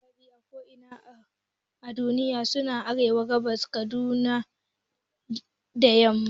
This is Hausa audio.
Manyan maki a ko'ina a duniya sune Arewa, Gabas, Kudu da yamma